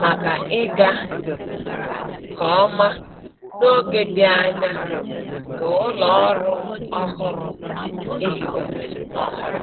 maka ịga nke ọma n’oge dị anya nke ụlọ ọrụ ọhụrụ e hiwere ọhụrụ.